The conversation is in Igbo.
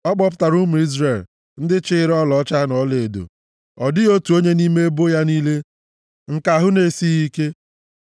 Ọ kpọpụtara ụmụ Izrel, ndị chịịrị ọlaọcha na ọlaedo, ọ dịghị otu onye nʼime ebo ya niile nke ahụ na-esighị ike.